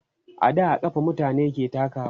a da a kafa mutane ke takawa